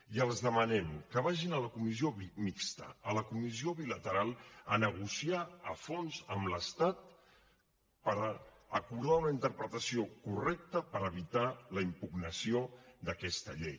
i els demanem que vagin a la comissió mixta a la comissió bilateral a negociar a fons amb l’estat per acordar una interpretació correcta per evitar la impugnació d’aquesta llei